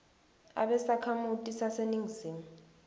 abe sakhamuti saseningizimu